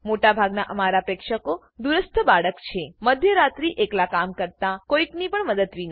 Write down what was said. મોટા ભાગના અમારા પ્રેક્ષકો દૂરસ્થ બાળક છે મધ્યરાત્રિએ એકલા કામ કરતા કોઈની પણ મદદ વિના